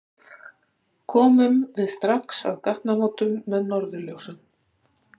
Komum við strax að gatnamótum með norðurljósum